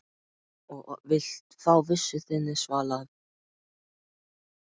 Og vilt fá vissu þinni svalað.